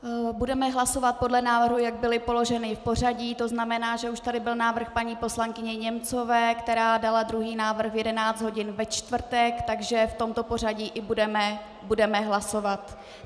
Budeme hlasovat podle návrhu, jak byly položeny v pořadí, to znamená, že už tady byl návrh paní poslankyně Němcová, která dala druhý návrh na 11 hodin ve čtvrtek, takže v tomto pořadí i budeme hlasovat.